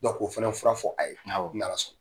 Ko fɛnɛ fɔra fɔ, a ye, ni Ala sɔn na.